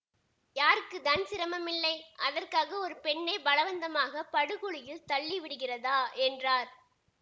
யாருக்கு தான் சிரமம் இல்லை அதற்காக ஒரு பெண்ணை பலவந்தமாக படு குழியில் தள்ளி விடுகிறதா என்றார்